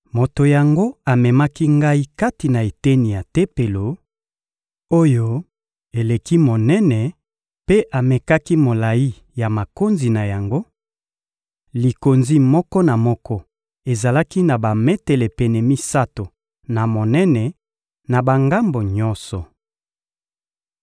Moto yango amemaki ngai kati na eteni ya Tempelo, oyo eleki monene mpe amekaki molayi ya makonzi na yango: likonzi moko na moko ezalaki na bametele pene misato na monene na bangambo nyonso.